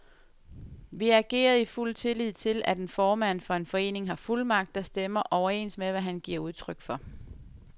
Vi agerede i fuld tillid til, at en formand for en forening har fuldmagt, der stemmer overens med, hvad han giver udtryk for.